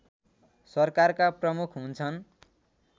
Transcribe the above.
सरकारका प्रमुख हुन्छन्